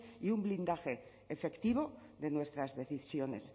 y un blindaje efectivo de nuestras decisiones